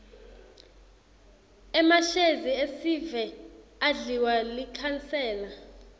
emashezi esive adliwa likhansela